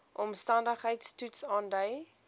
omstandigheids toets aandui